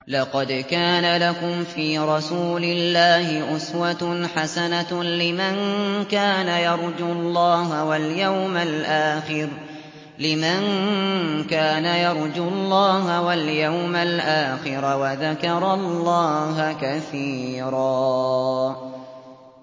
لَّقَدْ كَانَ لَكُمْ فِي رَسُولِ اللَّهِ أُسْوَةٌ حَسَنَةٌ لِّمَن كَانَ يَرْجُو اللَّهَ وَالْيَوْمَ الْآخِرَ وَذَكَرَ اللَّهَ كَثِيرًا